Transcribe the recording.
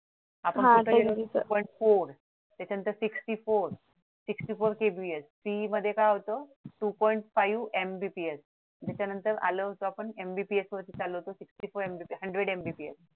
पण two point four त्याच्यानंतर sixty four sixty four KBPSPE मध्ये काय होत two point five MBPS त्याच्यानंतर आलो होतो आपण MBPS वरतीच आलो होतो sixty four MBPShundred MBPS